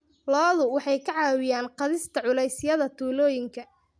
Lo'du waxay ka caawiyaan qaadista culeysyada tuulooyinka.